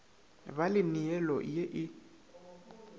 ba le neelo ye e